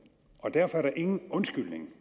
derfor er der ingen undskyldning